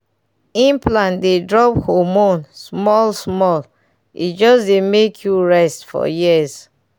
implant dey drop hormone small-small e just dey make you rest for years.